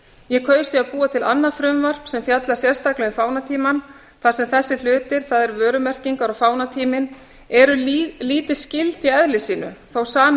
ég kaus því að búa til annað frumvarp sem fjallar sérstaklega um fánatímann þar sem þessir hlutir það er vörumerkingar og fánatíminn eru lítið skyld í eðli sínu þó að sami